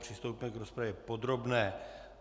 Přistoupíme k rozpravě podobné.